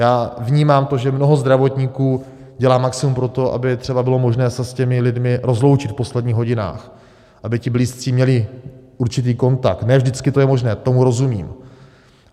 Já vnímám to, že mnoho zdravotníků dělá maximum pro to, aby třeba bylo možné se s těmi lidmi rozloučit v posledních hodinách, aby ti blízcí měli určitý kontakt, ne vždycky to je možné, tomu rozumím.